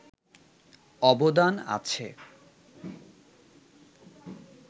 অবদান আছে